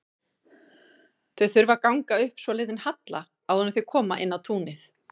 Þau þurfa að ganga upp svolítinn halla áður en þau koma inn á túnið.